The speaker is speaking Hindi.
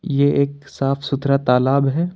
ये एक साफ सुथरा तालाब है।